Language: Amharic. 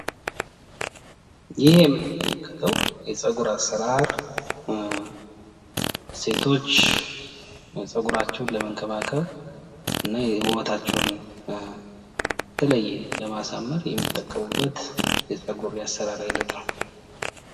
ይህ የምንመለከትው የጸጉር አሰራር ሰቶች ጸጉራቸውን ለመንከባከብ እና ውበታቸውን በተለየ ለማሳመር የሚጠቀሙበት የጸጉር የአሰራር አይነት ነው፡፡